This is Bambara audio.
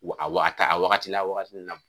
a wagati a wagati la wagati min na.